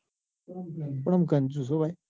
પણ આમ કંજૂસ હો ભાઈ.